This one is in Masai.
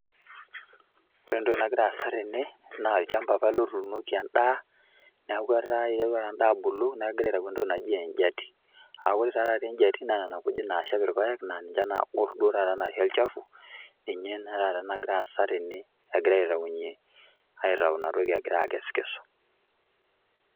Ore entoki nagira aasa tene, naa olchamba apa ele otuunoki endaa, neeku iterua ta endaa abulu, neku egirai aitau entoki naji ejiati. Akore ta taata ejiati na nena kujit nashep irpaek, na ninche nagor duo taata naisho olchafu, ninye ina taata nagira aasa tene egirai aitaunye, aitau inatoki egirai akesu.